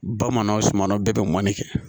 Bamananw sumano bɛɛ be mɔni kɛ